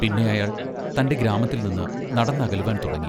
പിന്നെ അയാൾ തൻ്റെ ഗ്രാമത്തിൽനിന്ന് നടന്നകലുവാൻ തുടങ്ങി.